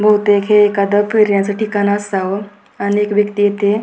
बहुतेक हे एखाद फिरण्याच ठिकाण असावं अनेक व्यक्ती इथे--